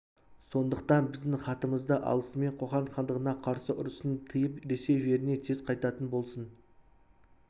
сондықтан біздің хатымызды алысымен қоқан хандығына қарсы ұрысын тыйып ресей жеріне тез қайтатын болсын